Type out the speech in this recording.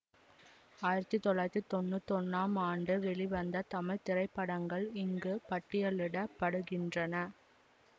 ஆயிரத்தி தொள்ளாயிரத்தி தொன்னூத்தி ஒன்னாம் ஆண்டு வெளிவந்த தமிழ் திரைப்படங்கள் இங்கு பட்டியலிட படுகின்றன